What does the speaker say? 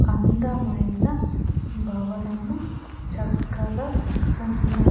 అందమైన భవనము చక్కగా ఉన్న--